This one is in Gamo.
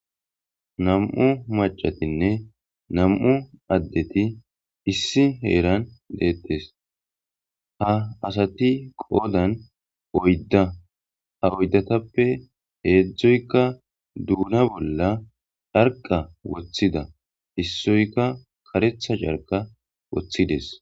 Nam7u macatinne nam7u addeti issi heeran deettes ha asati qoodan oydda ha oydatappe heedzdzoyka duuna bolla charqa woththida issoyka karetha carqa woththides.